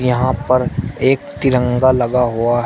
यहां पर एक तिरंगा लगा हुआ है।